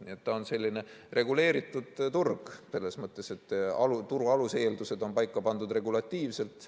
Nii et ta on selline reguleeritud turg selles mõttes, et turu aluseeldused on paika pandud regulatiivselt.